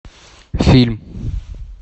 фильм